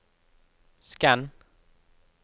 skann